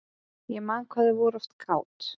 Ég man hvað þau voru oft kát.